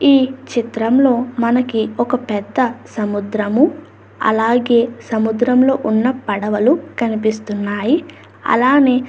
ఈ చిత్రంలో మనకి ఒక పెద్ద సముద్రము అలాగే సముద్రంలో ఉన్న పడవలు అలానే --